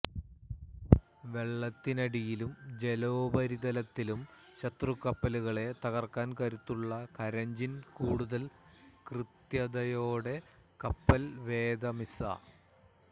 വെള്ളത്തിനടിയിലും ജലോപരിതലത്തിലും ശത്രുകപ്പലുകളെ തകർക്കാൻ കരുത്തുള്ള കരഞ്ചിന് കൂടുതൽ കൃത്യതയോടെ കപ്പൽവേധ മിസ